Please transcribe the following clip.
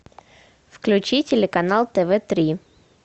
включи телеканал тв три